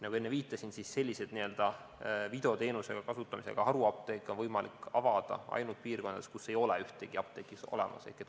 Nagu ma enne viitasin, selliseid videoteenuse kasutamisega haruapteeke on võimalik avada ainult piirkondades, kus ei ole ühtegi apteeki olemas.